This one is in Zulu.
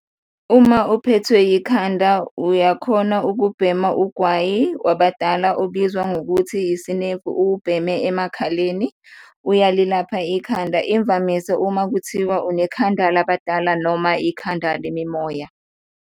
Uma uphethwe ikhanda uyakhona ukubhema ugwayi wabadala obizwa ngokuthi isinemfu, uwubheme emakhaleni, uyalilapha ikhanda, imvamisa uma kuthiwa unekhanda la badala noma ikhanda le mimoya.